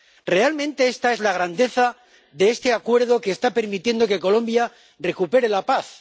Realmente esta es la grandeza de este acuerdo que está permitiendo que Colombia recupere la paz.